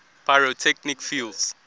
pyrotechnic fuels